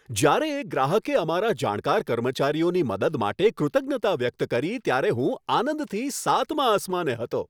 જ્યારે એક ગ્રાહકે અમારા જાણકાર કર્મચારીઓની મદદ માટે કૃતજ્ઞતા વ્યક્ત કરી ત્યારે હું આનંદથી સાતમા આસમાને હતો.